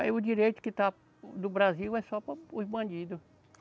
Aí o direito que está do Brasil é só para os bandidos.